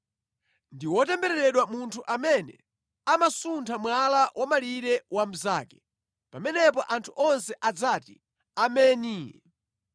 “Ndi wotembereredwa munthu amene amasuntha mwala wa malire wa mnzake.” Pamenepo anthu onse adzati, “Ameni!”